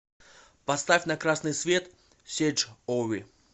поставь на красный свет серж ови